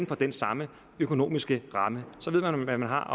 for den samme økonomiske ramme så ved man hvad man har